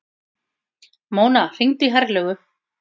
Mona, hringdu í Herlaugu.